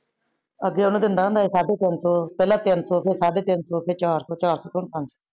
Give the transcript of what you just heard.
ਅਗੇ ਓਨੁ ਦਿੰਦਾ ਹੁੰਦਾ ਸੀ ਸਾਡੇ ਤਿਨ ਸੋ ਪੀਲਾ ਤਿਨ ਸੋ ਫੇਰ ਸਾਡੇ ਤਿਨ ਸੋ ਫੇਰ ਚਾਰ ਸੋ ਚਾਰ ਸੋ ਤੋ